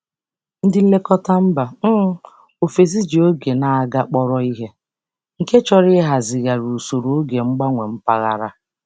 Ndị nlekọta mba um ofesi ji oge na-aga kpọrọ ihe, nke chọrọ ịhazigharị usoro oge mgbanwe mpaghara.